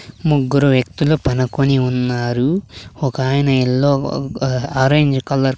ముగ్గురు వ్యక్తుల పనుకొని ఉన్నారు ఒకాయన ఎల్లో ఆరెంజ్ కలర్ --